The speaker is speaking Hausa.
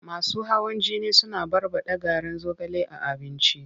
Masu hawan jini suna barɓaɗa garin zogale a abinci.